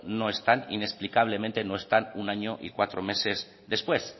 inexplicablemente no están un año y cuatro meses después